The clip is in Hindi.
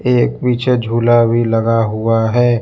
एक पीछे झूला भी लगा हुआ है।